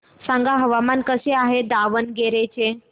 सांगा हवामान कसे आहे दावणगेरे चे